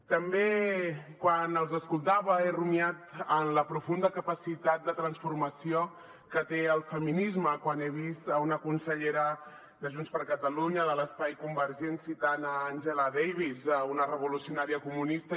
també quan els escoltava he rumiat en la profunda capacitat de transformació que té el feminisme quan he vist una consellera de junts per catalunya de l’espai convergent citant angela davis una revolucionària comunista